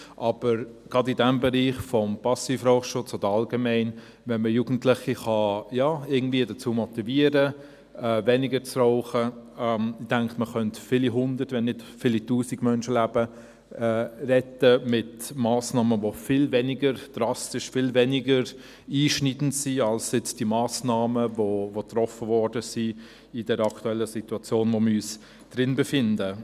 Aber gerade in diesem Bereich des Passivrauchschutzes oder, allgemein, wenn man Jugendliche irgendwie dazu motivieren kann, weniger zu rauchen, denke ich, könnte man viele Hunderte wenn nicht Tausende von Menschenleben retten mit Massnahmen, die viel weniger drastisch, viel weniger einschneidend sind als jetzt diese Massnahmen, die in der aktuellen Situation getroffen wurden, in der wir uns befinden.